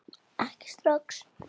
Ekki strax.